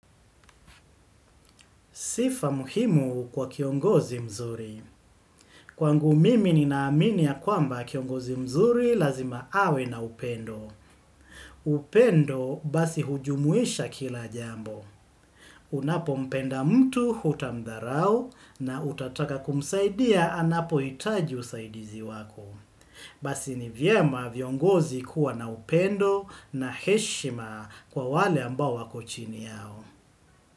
Sifa muhimu kwa kiongozi mzuri. Kwangu mimi ninaamini ya kwamba kiongozi mzuri lazima awe na upendo. Upendo, basi hujumuisha kila jambo. Unapompenda mtu hutamdharau na utataka kumsaidia anapohitaji usaidizi wako. Basi ni vyema viongozi kuwa na upendo na heshima kwa wale ambao wako chini yao.